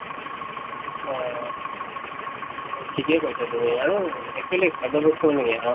অহ ঠিকে কৈছা তুমি আৰু actually খাদ্য় বস্তু মানে কি